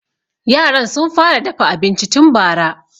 Yaran sun fara dafa abinci tun bara.